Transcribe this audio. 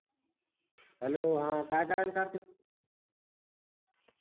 Hello हा काय करायला कार्तिक